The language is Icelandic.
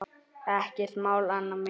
Ekkert mál, Anna mín.